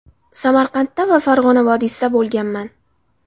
Samarqandda va Farg‘ona vodiysida bo‘lganman.